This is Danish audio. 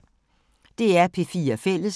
DR P4 Fælles